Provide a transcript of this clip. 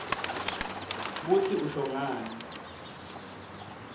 kutsi usho ngani